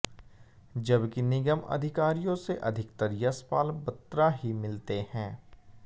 जबकि निगम अधिकारियों से अधिकतर यशपाल बत्रा ही मिलते हैं